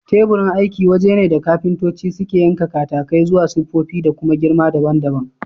Teburin aiki waje ne da kafintoci suke yanka katakai zuwa siffofi da kuma girma daban daban